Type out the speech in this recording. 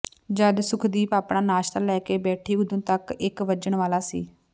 ਜਦ ਸੁਖਦੀਪ ਆਪਣਾ ਨਾਸ਼ਤਾ ਲੈ ਕੇ ਬੈਠੀ ਉਦੋਂ ਤਕ ਇੱਕ ਵੱਜਣ ਵਾਲਾ ਸੀ